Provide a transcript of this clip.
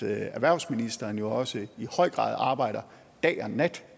at erhvervsministeren jo også i høj grad arbejder dag og nat